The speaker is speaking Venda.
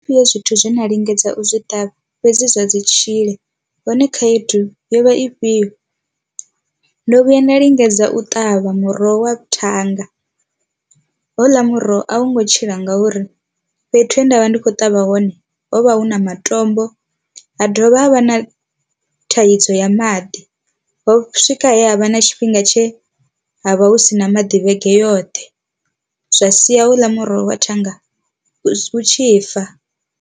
Fhio zwithu zwe nda lingedza u zwi ṱavha fhedzi zwa dzi tshile, hone khaedu yo vha ifhio. Ndo vhuya nda lingedza u ṱavha muroho wa thanga houḽa muroho a wu ngo tshila ngauri fhethu he nda vha ndi khou ṱavha hone ho vha hu na matombo ha dovha ha vha na thaidzo ya maḓi, ho swika he ha vha na tshifhinga tshe ha vha hu sina maḓi vhege yoṱhe zwa sia houḽa muroho wa thanga hu tshi fa.